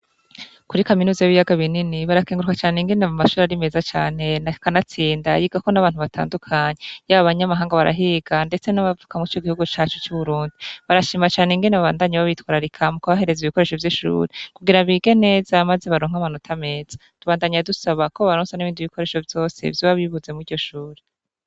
Kuri kaminuza y'ibiyaga binini barakenguruka cane ingene mu mashuri arimeza cane na kanatsinda yigako n'abantu batandukanyi yaba banyamahanga barahiga, ndetse n'abavuka mwu co igihugu cacu c'uburundi barashima cane ingene babandanyi b'abitwara rikamu kubahereza ibikoresho vy'ishuri kugira bige neza amaze baronka amanotameza dubandanyi yadusaba ko baronso n'ibindi bikoresho vyosevyo bibuze muryo ashore.